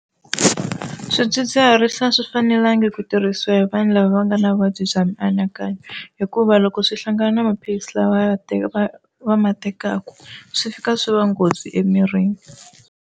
Swidzidziharisi a swi fanelanga ku tirhisiwa hi vanhu lava va nga na vuvabyi bya mianakanyo hikuva loko swi hlangana na maphilisi lawa ya teka va va ma tekaka swi fika swi va nghozi emirini.